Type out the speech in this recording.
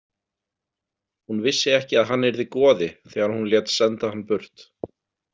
Hún vissi ekki að hann yrði goði þegar hún lét senda hann burt.